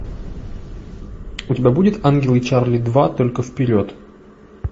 у тебя будет ангелы чарли два только вперед